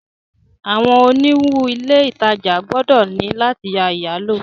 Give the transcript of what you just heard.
Awọn oniwun ile itaja gbọdọ ni lati ya iyalo